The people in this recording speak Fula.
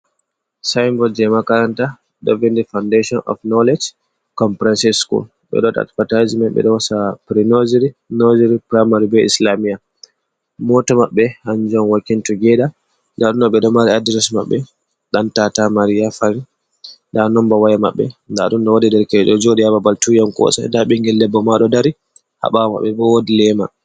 Sinboi je ma karanta devin nde foundation of khnowlege con fransisco, ɓe ɗo waɗa advatisinmen ɓe ɗo hosa pri nosery, nosery, primary, be islamia. Moto maɓɓe hanjum on wokin tugeda, nda ɗum ɗo ɓeɗo mari adres maɓɓe ɗan tata maria fari, nda nomba waya maɓɓe nda ɗum wodi derke’en joɗi ha babal tuyan kosai, nda ɓingel debbo ma ɗo dari ha ɓawo maɓɓe bo wodi lema.